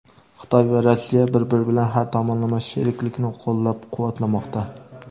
Xitoy va Rossiya bir-biri bilan har tomonlama sheriklikni qo‘llab-quvvatlamoqda.